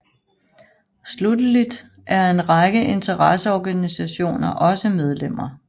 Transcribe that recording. Slutteligt er en række interesseorganisationer også medlemmer